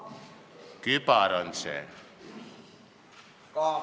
Kübar on see.